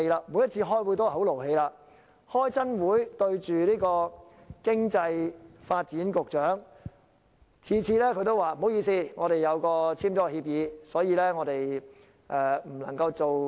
我們每次開會都很動氣，每次開會對着商務及經濟發展局局長，他每次都說不好意思，他們簽了協議，所以很多事情不能夠做。